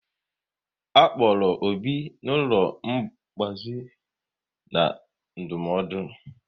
A kpọrọ Obi n'ụlọ ngbazi na ndụmọdụ